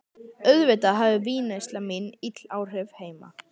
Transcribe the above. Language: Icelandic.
Auðvitað hafði vínneysla mín ill áhrif heima.